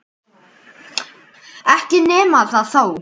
Ekki nema það þó!